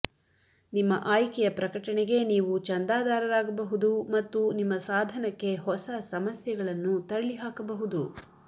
ನಿಮ್ಮ ಆಯ್ಕೆಯ ಪ್ರಕಟಣೆಗೆ ನೀವು ಚಂದಾದಾರರಾಗಬಹುದು ಮತ್ತು ನಿಮ್ಮ ಸಾಧನಕ್ಕೆ ಹೊಸ ಸಮಸ್ಯೆಗಳನ್ನು ತಳ್ಳಿಹಾಕಬಹುದು